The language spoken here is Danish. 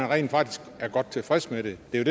rent faktisk godt tilfreds med det det er